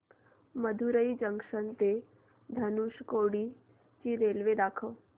Madurai junction ते धनुषकोडी ची train दाखव